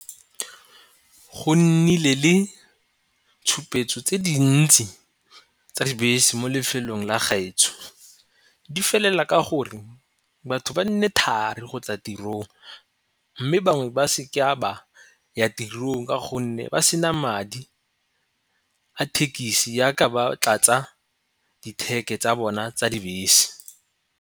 Go nnile le tshupetso tse dintsi tsa dibese mo lefelong la gaetsho di felela ka gore batho ba nne thari go tla tirong, mme bangwe ba seke a ba ya tirong ka gonne ba sena madi a thekisi yaka ba tlatsa di-tag tsa bona tsa dibese.